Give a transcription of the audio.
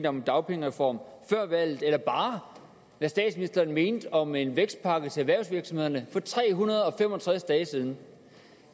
om en dagpengereform før valget eller bare hvad statsministeren mente om en vækstpakke til erhvervsvirksomhederne for tre hundrede og fem og tres dage siden